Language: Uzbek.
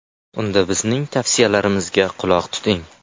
Unda bizning tavsiyalarimizga quloq tuting.